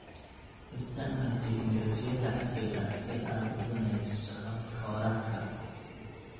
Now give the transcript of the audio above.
Isticmaal tignoolajiyada casriga ah si aad u wanaajiso hababka waraabka.